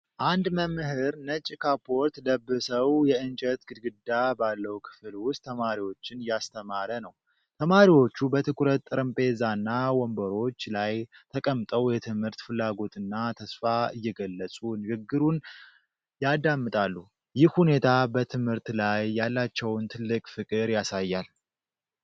አንድ መምህር ነጭ ካፖርት ለበሰዉ የእንጨት ግድግዳ ባለው ክፍል ውስጥ ተማሪዎችን እያስተማረ ነው። ተማሪዎቹ በትኩረት ጠረጴዛና ወንበሮች ላይ ተቀምጠው የትምህርት ፍላጎትና ተስፋ እየገለጹ ንግግሩን ያዳምጣሉ። ይህ ሁኔታ በትምህርት ላይ ያላቸውን ትልቅ ፍቅር ያሳያል።